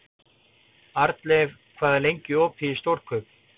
Arnleif, hvað er lengi opið í Stórkaup?